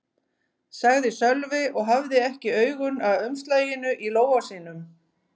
sagði Sölvi og hafði ekki augun af umslaginu í lófa sínum.